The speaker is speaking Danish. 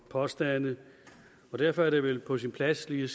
påstande ind og derfor er det vel på sin plads lige